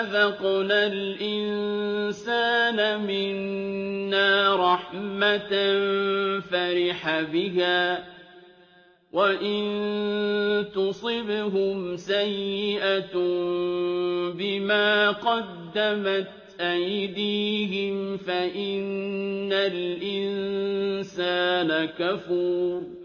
أَذَقْنَا الْإِنسَانَ مِنَّا رَحْمَةً فَرِحَ بِهَا ۖ وَإِن تُصِبْهُمْ سَيِّئَةٌ بِمَا قَدَّمَتْ أَيْدِيهِمْ فَإِنَّ الْإِنسَانَ كَفُورٌ